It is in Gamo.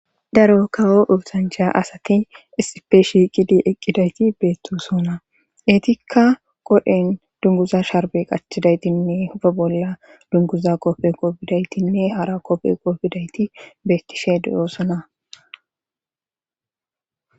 Daro kawo uutancha asaki isipe shiiqidi eqqidayti beettosona eetikka qodhen dunguza sharbe qachthidaytinne hufe bolla dunguza qopfe qoobidaytinne hara qopfe qoo bidayti beettishe doyoosona